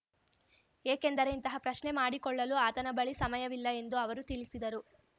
ಏಕೆಂದರೆ ಇಂತಹ ಪ್ರಶ್ನೆ ಮಾಡಿಕೊಳ್ಳಲು ಆತನ ಬಳಿ ಸಮಯವಿಲ್ಲ ಎಂದು ಅವರು ತಿಳಿಸಿದರು